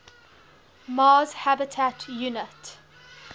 mars habitat unit